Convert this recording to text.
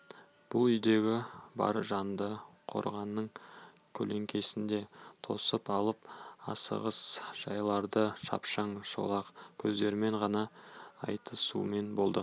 бұл үйдегі бар жанды қораның көлеңкесінде тосып алып асығыс жайларды шапшаң шолақ сөздермен ғана айтысумен болды